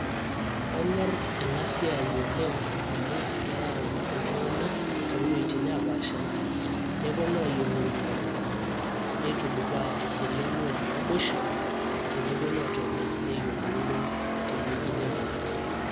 Kanyor enasiai oleng' amu keyau iltung'anak towuei nepaasha. Neponu ayiolouno. Nitudupaa eseriani o naboisho, teneponu atoni neyiolouno tewueji nebo.